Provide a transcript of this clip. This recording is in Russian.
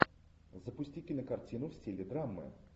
запусти кинокартину в стиле драмы